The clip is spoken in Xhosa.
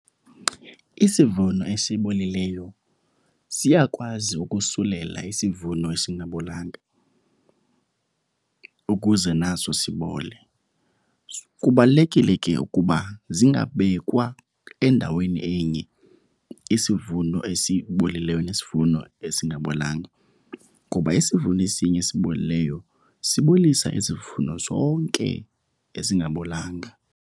Isivuno esibolileyo siyakwazi ukusulela isivuno esingabolanga ukuze naso sibole. Kubalulekile ke ukuba zingabekwa endaweni enye isivuno esibolileyo nesivuno esingabolanga ngoba isivuno esinye esibolileyo sibolisa izivuno zonke ezingabolanga.